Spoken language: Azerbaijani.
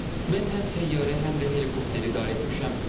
Mən həm təyyarə, həm də helikopteri idarə etmişəm.